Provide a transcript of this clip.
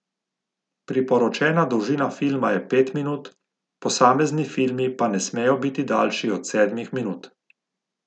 Priporočena dolžina filma je pet minut, posamezni filmi pa ne smejo biti daljši od sedmih minut.